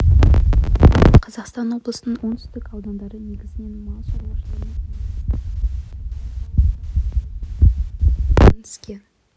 батыс қазақстан облысының оңтүстік аудандары негізінен мал шаруашылығымен айналысады чапаев ауылында қозы етін өңдейтін кәсіпорын іске